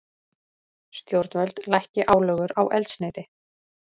Stjórnvöld lækki álögur á eldsneyti